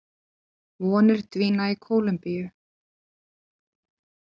Vonir dvína í Kólumbíu